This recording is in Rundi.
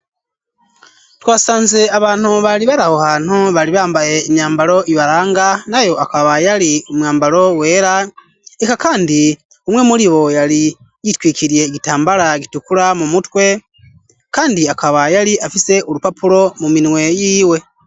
Twasanze abantu bari baraho hantu bari bambaye imyambalo ibaranga nayo akaba yari umwambaro wera eka kandi umwe muribo yari yitwikiriye igitambara gitukura mu mutwe kandi akaba yari afise urupapuro mu minwe yiwe.